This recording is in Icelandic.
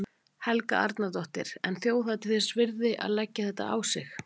Helga Arnardóttir: En þjóðhátíð þess virði að, að leggja þetta á sig allt?